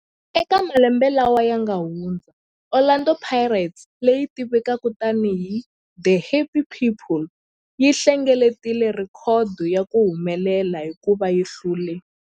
Eka malembe lawa yanga hundza, Orlando Pirates, leyi tivekaka tani hi 'The Happy People', yi hlengeletile rhekhodo ya ku humelela hikuva yi hlule